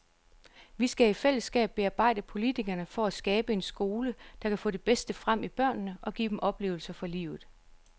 Vi skal i fællesskab bearbejde politikerne for at skabe en skole, der kan få det bedste frem i børnene og give dem oplevelser for livet.